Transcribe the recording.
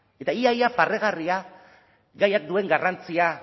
eta ia ia barregarria gaiak duen garrantzia